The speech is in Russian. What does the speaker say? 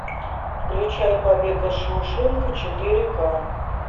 включай побег из шоушенка четыре ка